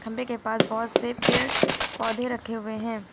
खंबे के पास बहोत से पेड़ पौधे रखे हुए हैं।